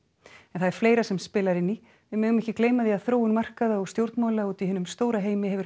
en það er fleira sem spilar inn í við megum ekki gleyma því að þróun markaða og stjórnmála úti í hinum stóra heimi hefur